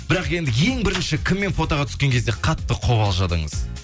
бірақ енді ең бірінші кіммен фотоға түскен кезде қатты қобалжыдыңыз